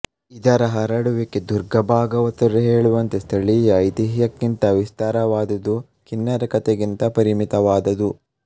ಇದರ ಹರಡುವಿಕೆ ದುರ್ಗಾಭಾಗವತರು ಹೇಳುವಂತೆ ಸ್ಥಳೀಯ ಐತಿಹ್ಯಕ್ಕಿಂತ ವಿಸ್ತಾರವಾದುದು ಕಿನ್ನರಕಥೆಗಿಂತ ಪರಿಮಿತವಾದುದು